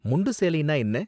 முண்டு சேலைனா என்ன?